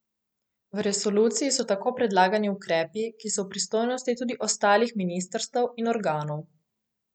V resoluciji so tako predlagani ukrepi, ki so v pristojnosti tudi ostalih ministrstev in organov.